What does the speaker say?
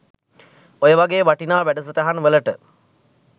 ඔය වගේ වටිනා වැඩසටහන් වලට